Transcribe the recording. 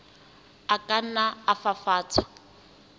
a ka nna a fafatswa